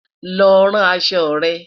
lọ ràn aṣọ rẹ̀